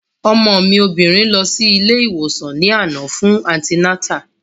Ọmọ mi obìnrin lọ sí ilé ìwòsàn ní àná fún antinátà